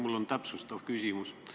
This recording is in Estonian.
Mul on täpsustav küsimus.